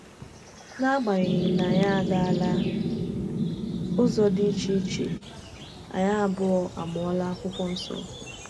N’agbanyeghị na anyị agaala ụzọ dị iche iche, anyị abụọ amụọla Akwụkwọ Nsọ.